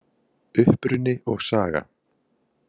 Uppruni og saga